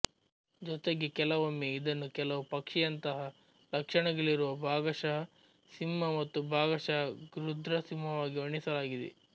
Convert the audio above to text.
ಜೊತೆಗೆ ಕೆಲವೊಮ್ಮೆ ಇದನ್ನು ಕೆಲವು ಪಕ್ಷಿಯಂತಹ ಲಕ್ಷಣಗಳಿರುವ ಭಾಗಶಃ ಸಿಂಹ ಮತ್ತು ಭಾಗಶಃ ಗೃಧ್ರಸಿಂಹವಾಗಿ ವರ್ಣಿಸಲಾಗಿದೆ